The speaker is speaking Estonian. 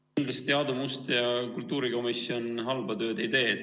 Kindlasti Aadu Must ja kultuurikomisjon halba tööd ei tee.